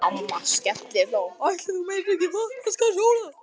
Amma skellihló: Ætli þú meinir ekki Vatnsskarðshóla?